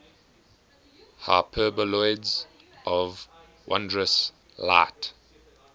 hyperboloids of wondrous light